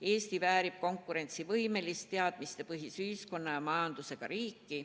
Eesti väärib konkurentsivõimelist teadmistepõhist ühiskonda ja majandust.